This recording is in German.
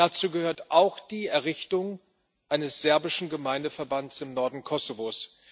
Dazu gehört auch die Errichtung eines serbischen Gemeindeverbands im Norden Kosovos.